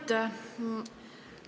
Aitäh!